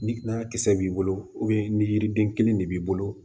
Ni n'a kisɛ b'i bolo ni yiriden kelen de b'i bolo